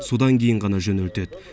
содан кейін ғана жөнелтеді